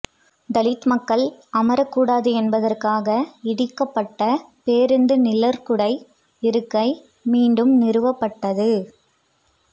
தலித் மக்கள் அமரக் கூடாது என்பதற்காக இடிக்கப்பட்ட பேருந்து நிழற்குடை இருக்கை மீண்டும் நிறுவப்பட்டது